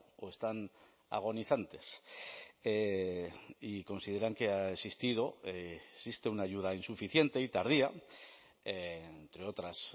o están agonizantes y consideran que ha existido existe una ayuda insuficiente y tardía entre otras